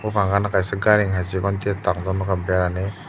buphang gana kaisa gairing hai chikonte tangjak nukha berani.